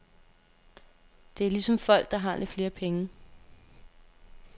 Det er ligesom folk, der har lidt flere penge.